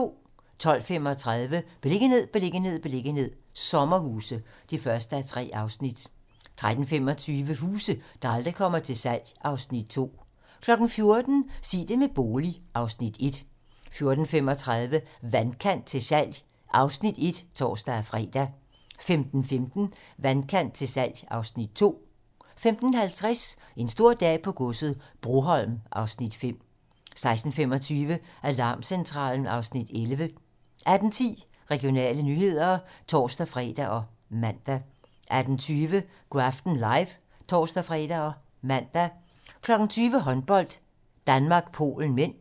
12:35: Beliggenhed, beliggenhed, beliggenhed - sommerhuse (1:3) 13:25: Huse, der aldrig kommer til salg (Afs. 2) 14:00: Sig det med bolig (Afs. 1) 14:35: Vandkant til salg (Afs. 1)(tor og tir) 15:15: Vandkant til salg (Afs. 2) 15:50: En stor dag på godset - Broholm (Afs. 5) 16:25: Alarmcentralen (Afs. 11) 18:10: Regionale nyheder (tor-fre og man) 18:20: Go' aften live (tor-fre og man) 20:00: Håndbold: Danmark-Polen (m)